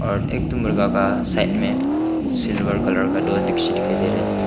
और एक ठो मुर्गा का साइड में सिल्वर कलर का दो दृश्य दिखाई दे रहे है।